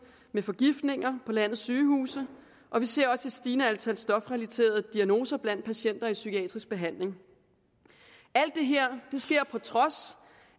med forgiftninger på landets sygehuse og vi ser også et stigende antal stofrelaterede diagnoser blandt patienter i psykiatrisk behandling alt det her sker på trods